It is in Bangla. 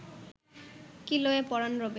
কি লয়ে পরাণ রবে